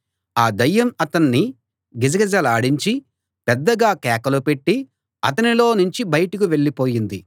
ఆ దయ్యం అతన్ని గిజగిజలాడించి పెద్దగా కేకలు పెట్టి అతనిలో నుంచి బయటకు వెళ్ళిపోయింది